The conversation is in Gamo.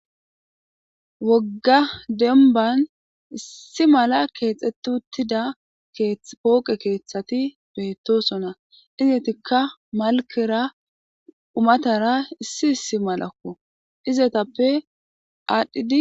wogga demban issi mala keexetutida pooqe keeththati beetosona iznetikka malkera umatara issi issi malakko izetappe aadhdhidi